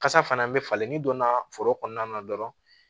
Kasa fana bɛ falen ni donna foro kɔnɔna na dɔrɔn